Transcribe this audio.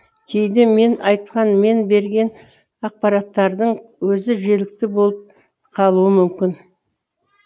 кейде мен айтқан мен берген ақпараттардың өзі желікті болып қалуы мүмкін